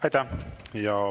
Aitäh!